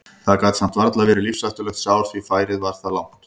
Það gat samt varla verið lífshættulegt sár því færið var það langt.